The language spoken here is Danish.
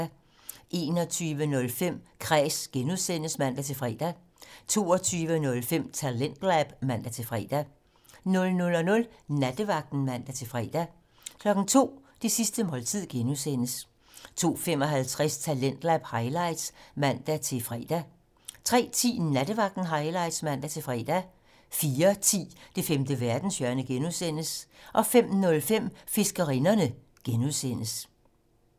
21:05: Kræs (G) (man-fre) 22:05: Talentlab (man-fre) 00:00: Nattevagten (man-fre) 02:00: Det sidste måltid (G) 02:55: Talentlab highlights (man-fre) 03:10: Nattevagten Highlights (man-fre) 04:10: Det femte verdenshjørne (G) 05:05: Fiskerinderne (G)